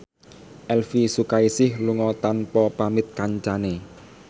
Elvy Sukaesih lunga tanpa pamit kancane